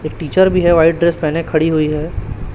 एक टीचर भी है व्हाइट ड्रेस पहने खड़ी हुई है।